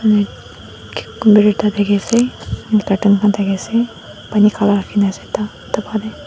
kamara ekta thaki ase bartan khan thaki ase pani khara rakhi na ase ta etu karne.